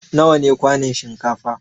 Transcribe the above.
Nawa ne kwanun shinkafa?